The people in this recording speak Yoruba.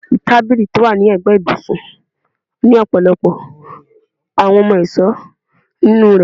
Tabili ti o wa ni ẹgbẹ ibusun ni ọpọlọpọ awọn ohun-ọṣọ ninu rẹ